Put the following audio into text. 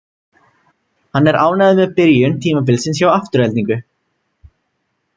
Hann er ánægður með byrjun tímabilsins hjá Aftureldingu.